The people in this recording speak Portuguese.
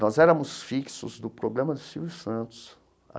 Nós éramos fixos no programa do Silvio Santos.